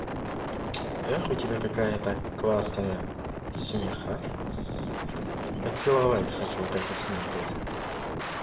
эх у тебя какая-то классная смеха поцеловать хочу вот этот смех я